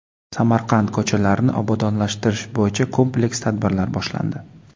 Samarqand ko‘chalarini obodonlashtirish bo‘yicha kompleks tadbirlar boshlandi.